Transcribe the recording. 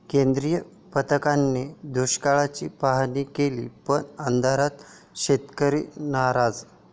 केंद्रीय पथकाने दुष्काळाची पाहाणी केली पण अंधारात, शेतकरी नाराज!